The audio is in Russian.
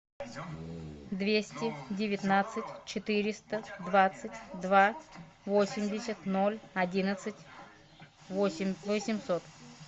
двести девятнадцать четыреста двадцать два восемьдесят ноль одиннадцать восемь восемьсот